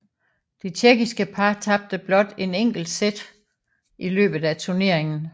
Det tjekkiske par tabte blot et enkelt sæt i løbet af turneringen